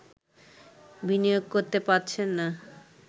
বিনিয়োগ করতে পারছেন না